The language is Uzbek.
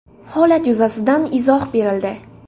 Holat yuzasidan izoh berildi.